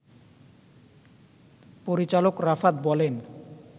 পরিচালক রাফাত বলেন